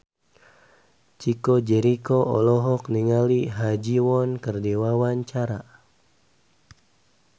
Chico Jericho olohok ningali Ha Ji Won keur diwawancara